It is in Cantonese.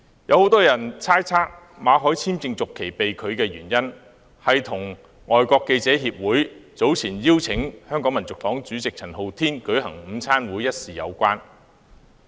有很多人猜測，馬凱的工作簽證續期被拒的原因，是與香港外國記者會早前邀請香港民族黨主席陳浩天舉行午餐會一事有關。